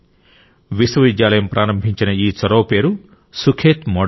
విశ్వవిద్యాలయం ప్రారంభించిన ఈ చొరవ పేరు సుఖేత్ మోడల్